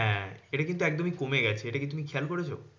এটা কিন্তু একদমই কমে গেছে, এটা কি তুমি খেয়াল করেছো?